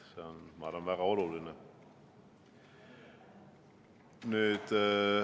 See on, ma arvan, väga oluline.